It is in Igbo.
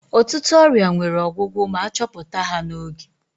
Ụtụtụ ọrịa nwere ọgwụgwụ ma achọpụta ha n'oge.